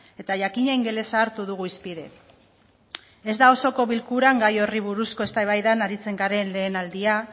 eta jakina ingelesa hartu dugu hizpide ez da osoko bilkuran gai horri buruzko eztabaidan aritzen garen lehen aldia